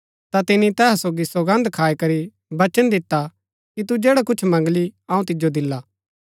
हेरोदेस दुखी भूआ पर अपणी सौगन्द री बजह थऊँ अतै अपणै सोगी बैहुरै मणु री बजह थऊँ हुक्म दिता कि दि देय्आ